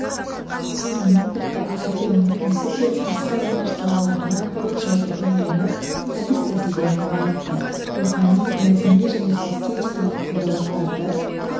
сонымен бірге радионың өзі де басқа өнер салаларынан көп жайды үйреніп әдіс-тәсілдерін байытты рухани мәдени және эстетикалық құндылықтарды